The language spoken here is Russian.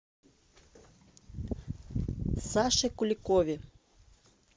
саше куликове